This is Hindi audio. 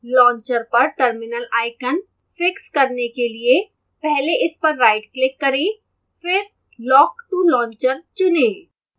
launcher पर terminal icon fix करने के लिए पहले इस पर rightclick करें फिर lock to launcher चुनें